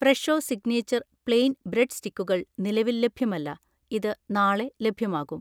Fresho signature plain bread സ്റ്റിക്കുകൾ നിലവിൽ ലഭ്യമല്ല, ഇത് നാളെ ലഭ്യമാകും